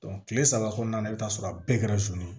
kile saba kɔnɔna na i bi taa sɔrɔ a bɛɛ kɛra ye